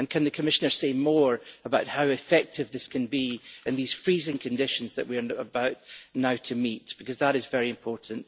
Can the Commissioner say more about how effective this can be in the freezing conditions that we are about to meet, because that is very important?